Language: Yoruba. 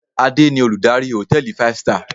Adé ni Olùdarí hòtẹ́ẹ̀lì five star.